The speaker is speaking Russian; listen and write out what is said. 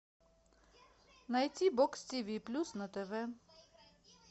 найти бокс тв плюс на тв